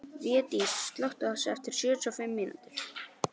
Védís, slökktu á þessu eftir sjötíu og fimm mínútur.